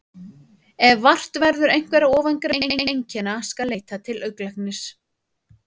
Ef vart verður einhverra ofangreindra einkenna skal leita til augnlæknis.